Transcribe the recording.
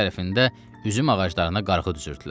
O biri tərəfində üzüm ağaclarına qarğı düzürdülər.